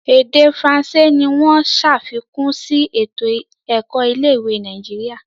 Ede faransé ní wón ṣàfikún sí eto-ẹkọ ilé-ìwé Nàìjíríà.